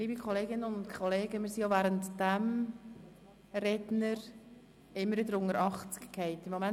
Liebe Kolleginnen und Kollegen, wir sind auch während dieser Rede wieder unter die Zahl von 80 Grossratsmitgliedern gefallen.